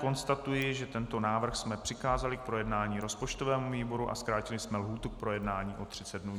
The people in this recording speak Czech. Konstatuji, že tento návrh jsme přikázali k projednání rozpočtovému výboru a zkrátili jsme lhůtu k projednání i 39 dnů.